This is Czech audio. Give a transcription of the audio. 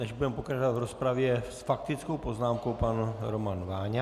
Než budeme pokračovat v rozpravě, s faktickou poznámkou pan Roman Váňa.